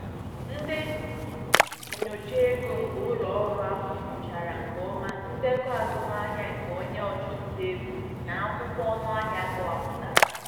Ndị nyocha ego nke ụlọ ọrụ ahụ nyochara nke ọma ndekọ azụmahịa nke onye ọchụnta ego na akwụkwọ ọnụahịa akọwapụtara.